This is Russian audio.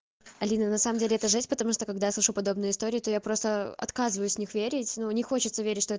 алина на самом деле это жесть потому что когда я слышу подобные истории то я просто отказываюсь в них верить но не хочется верить что